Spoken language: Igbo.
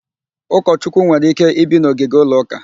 Ụkọchukwu nwere ike ibi n'ogige ụlọ ụka